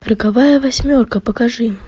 роковая восьмерка покажи